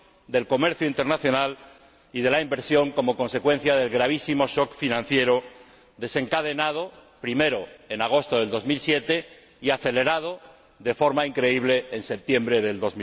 del comercio internacional y de la inversión como consecuencia del gravísimo shock financiero desencadenado, primero, en agosto del 2007 y acelerado, de forma increíble, en septiembre del